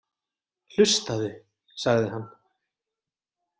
Hlustaðu, sagði hann.